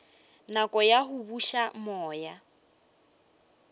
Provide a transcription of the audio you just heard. nako ya go buša moya